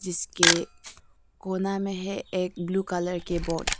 इसके कोना में है एक ब्लू कलर की बोट ।